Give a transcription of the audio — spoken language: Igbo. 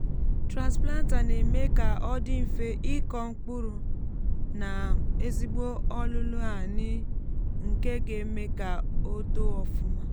transplanter na èmé kà ọ dị mfe ịkọ mkpụrụ nà ezigbo ólùlù ani nké gá éme kà o too ofụma